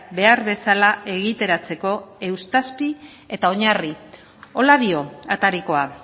behar bezala egiteratzeko eustazpi eta oinarri horrela dio atarikoa